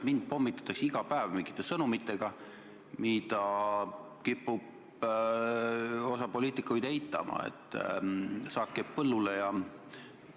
Mind pommitatakse iga päev sõnumitega, mida osa poliitikuid kipub eitama: et saak jääb põllule ja nii edasi.